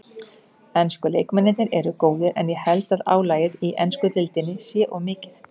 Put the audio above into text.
Ensku leikmennirnir eru góðir en ég held að álagið í ensku deildinni sé of mikið.